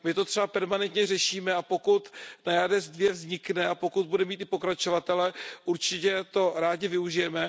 My to třeba permanentně řešíme, a pokud NAIADES II vznikne a pokud bude mít i pokračovatele, určitě toho rádi využijeme.